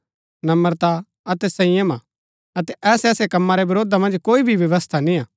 नम्रता अतै संयम हा अतै ऐसै ऐसै कम्मा रै वरोधा मन्ज कोई भी व्यवस्था निय्आ